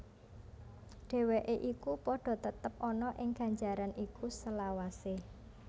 Dheweke iku padha tetep ana ing ganjaran iku selawase